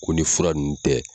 Ko ni fura ninnu tɛ.